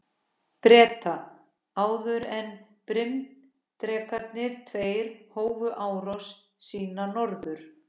Breta, áður en bryndrekarnir tveir hófu útrás sína norður.